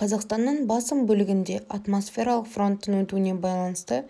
қазақстанның басым бөлігінде атмосфералық фронттың өтуіне байланысты